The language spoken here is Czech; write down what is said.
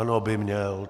Ano, by měl.